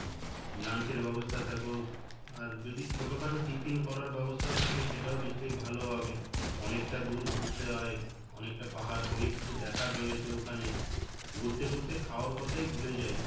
lunch এর ব্যবস্থা থাকুক আর যদি ছোটো খাটো tiffin করার ব্যবস্থাও থাকে সেটাও নিশ্চয় ভালো হবে অনেকটা দুর ঘুরতে হয় অনেকটা পাহাড় অনেক কিছু দেখার রয়েছে ওখানে ঘুরতে ঘুরতে খাওয়ার কথাই ভুলে যাই